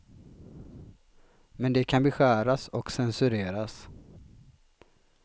Men de kan beskäras och censureras.